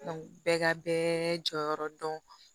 bɛɛ ka bɛɛ jɔyɔrɔ dɔn